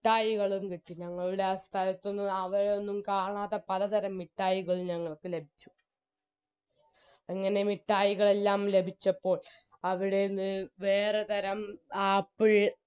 മിട്ടായികളും കിട്ടി ഞങ്ങളുടെ ആ സ്ഥലത്തൊന്നും അവിടെയൊന്നും കാണാത്ത പലതരം മിട്ടായികൾ ഞങ്ങൾക്ക് ലഭിച്ചു അങ്ങനെ മിട്ടായികളെല്ലാം ലഭിച്ചപ്പോൾ അവിടെന്ന് വേറെ തരം apple